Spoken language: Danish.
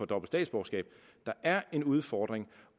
dobbelt statsborgerskab der er en udfordring